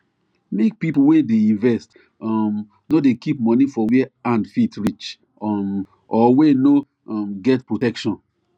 make people wey dey invest um nor dey keep money for where hand fit reach um or wey no um get protection